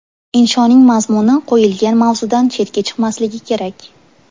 Inshoning mazmuni qo‘yilgan mavzudan chetga chiqmasligi kerak.